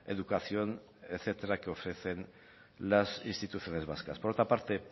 educación etcétera que ofrecen las instituciones vascas por otra parte